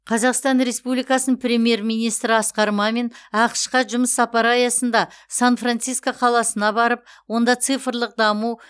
қазақстан республикасының премьер министрі асқар мамин ақш қа жұмыс сапары аясында сан франциско қаласына барып онда цифрлық даму